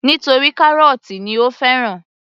Nítorí kárọ́tì ni ó fẹ́ràn